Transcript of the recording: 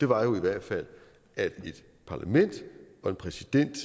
var jo i hvert fald at et parlament og en præsident